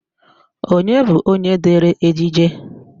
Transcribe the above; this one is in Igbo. Onye bụ onye dere ejije?